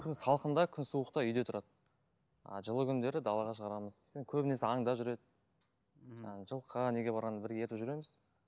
салқында күн суықта үйде тұрады а жылы күндері далаға шығарамыз енді көбінесе аңда жүреді жаңа жылқы неге барғанда бірге ертіп жүреміз